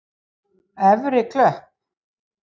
Efri Klöpp